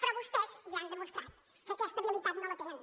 però vostès ja han demostrat que aquesta habilitat no la tenen